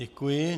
Děkuji.